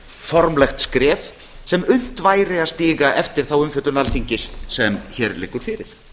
formlegt skref sem unnt væri að stíga eftir þá umfjöllun alþingis sem hér liggur fyrir